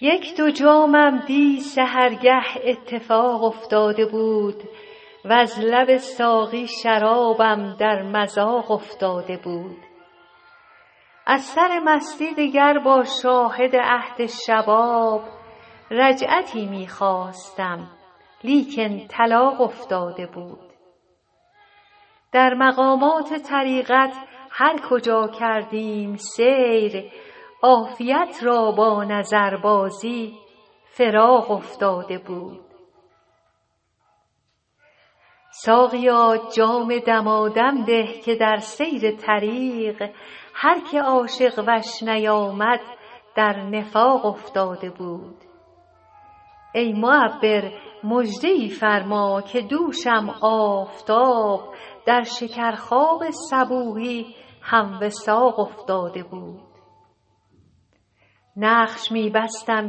یک دو جامم دی سحرگه اتفاق افتاده بود وز لب ساقی شرابم در مذاق افتاده بود از سر مستی دگر با شاهد عهد شباب رجعتی می خواستم لیکن طلاق افتاده بود در مقامات طریقت هر کجا کردیم سیر عافیت را با نظربازی فراق افتاده بود ساقیا جام دمادم ده که در سیر طریق هر که عاشق وش نیامد در نفاق افتاده بود ای معبر مژده ای فرما که دوشم آفتاب در شکرخواب صبوحی هم وثاق افتاده بود نقش می بستم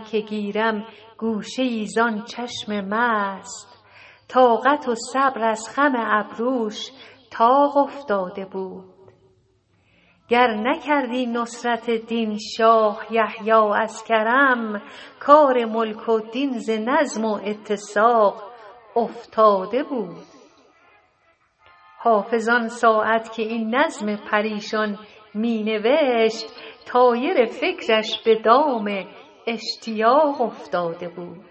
که گیرم گوشه ای زان چشم مست طاقت و صبر از خم ابروش طاق افتاده بود گر نکردی نصرت دین شاه یحیی از کرم کار ملک و دین ز نظم و اتساق افتاده بود حافظ آن ساعت که این نظم پریشان می نوشت طایر فکرش به دام اشتیاق افتاده بود